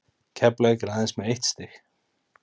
Keflavík er aðeins með eitt stig.